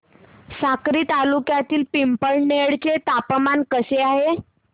साक्री तालुक्यातील पिंपळनेर चे तापमान कसे आहे